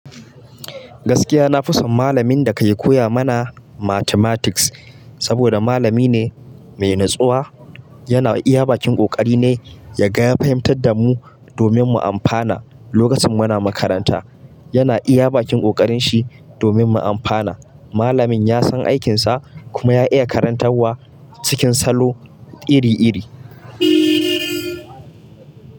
Gaskiya na fi son malamin da ka yi koya mana mathematics saboda malami ne mai natsuwa, yana iya bakin ƙoƙari nai, yaga ya fahimtar da mu domin mu amfana. Lokacin muna makaranta yana iya bakin ƙoƙarin shi domin mu amfana. Malamin ya san aikinsa kuma ya iya karantarwa cikin salo iri iri.